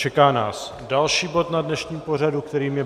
Čeká nás další bod na dnešním pořadu, kterým je